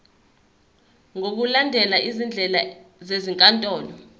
ngokulandela izindlela zezinkantolo